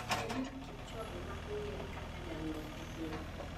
Eliud kipchoge ma ong'ere kaka janguech e piny.